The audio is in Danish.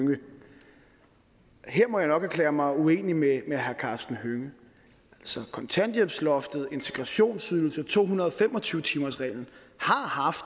hønge her må jeg nok erklære mig uenig med karsten hønge altså kontanthjælpsloftet integrationsydelsen to hundrede og fem og tyve timersreglen har haft